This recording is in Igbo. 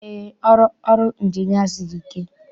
Eé, ọrụ ọrụ Ịnjinịa siri ike.